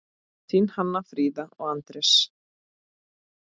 Þín Hanna Fríða og Anders.